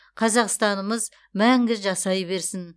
қазақстанымыз мәңгі жасай берсін